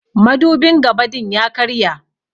Madubin gabã din ya karya.